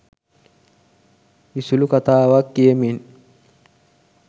විසුලු කතාවක් කියමින්